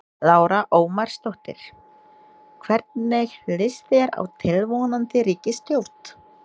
Lára Ómarsdóttir: Hvernig líst þér á tilvonandi ríkisstjórn?